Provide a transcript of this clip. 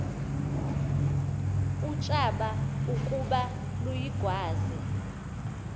utshaba ukuba luyigwaze